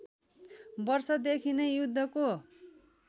वर्षदेखि नै युद्धको